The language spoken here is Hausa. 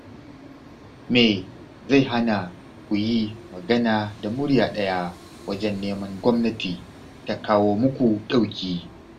Me zai hana ku yi magana da murya ɗaya wajen neman Gwamnati ta kawo muku ɗauki?